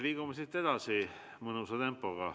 Liigume edasi mõnusa tempoga.